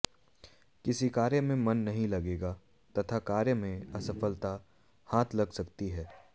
किसी कार्य में मन नहीं लगेगा तथा कार्य में असफलता हाथ लग सकती है